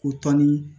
Ko tɔnni